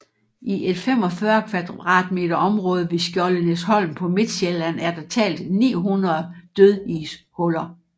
I et 45 km2 område ved Skjoldenæsholm på Midtsjælland er der talt 900 dødishuller